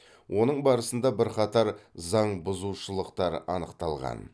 оның барысында бірқатар заңбұзушылықтар анықталған